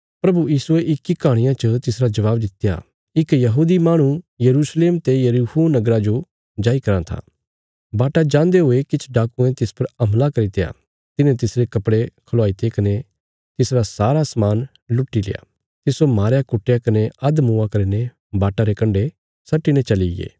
प्रभु यीशुये इक्की कहाणिया च तिसरा जवाब दित्या इक यहूदी माहणु यरूशलेम ते यरीहो नगरा जो जाई कराँ था बाटा जान्दे हुये किछ डाकुयें तिस पर हमला करित्या तिन्हें तिसरे कपड़े खलवाईते कने तिसरा सारा समान लुटील्या तिस्सो मारया कुटया कने अधमुआ करीने वाटा रे कण्डे सट्टीने चलीगे